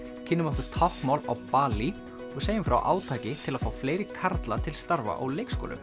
kynnum okkur táknmál á Balí og segjum frá átaki til að fá fleiri karla til starfa á leikskólum